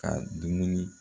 Ka dumuni